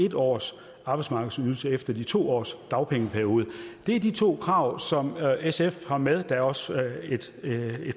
en års arbejdsmarkedsydelse efter de to års dagpengeperiode det er de to krav som sf har med der er også et